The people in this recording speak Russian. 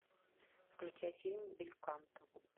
включай фильм бельканто